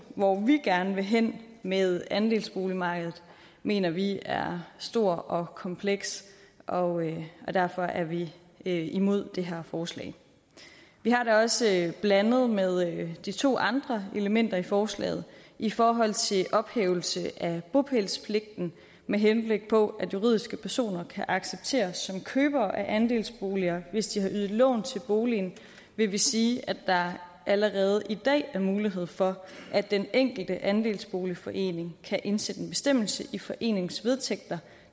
hvor vi gerne vil hen med andelsboligmarkedet mener vi er stor og kompleks og derfor er vi vi imod det her forslag vi har det også blandet med de to andre elementer i forslaget i forhold til ophævelse af bopælspligten med henblik på at juridiske personer kan accepteres som købere af andelsboliger hvis de har ydet lån til boligen vil vi sige at der allerede i dag er mulighed for at den enkelte andelsboligforening kan indsætte en bestemmelse i foreningens vedtægter